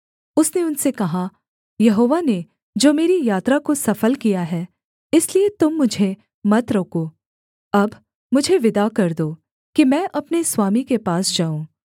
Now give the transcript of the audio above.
उसने उनसे कहा यहोवा ने जो मेरी यात्रा को सफल किया है इसलिए तुम मुझे मत रोको अब मुझे विदा कर दो कि मैं अपने स्वामी के पास जाऊँ